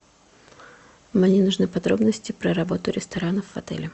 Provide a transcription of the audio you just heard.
мне нужны подробности про работу ресторанов в отеле